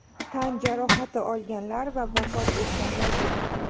Tan jarohati olganlar va vafot etganlar yo‘q.